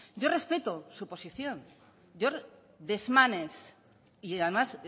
yo respeto su posición yo desmanes y además